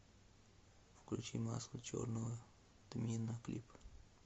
включи масло черного тмина клип